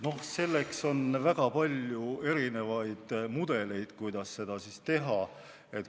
Noh, selleks on väga palju erinevaid mudeleid, kuidas seda teha.